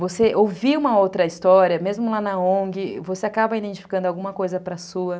Você ouvir uma outra história, mesmo lá na ongue, você acaba identificando alguma coisa para a sua.